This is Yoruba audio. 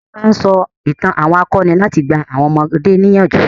Wọn máa ń sọ itàn àwọn akọni láti gba àwọn ọmọdé níyànjú.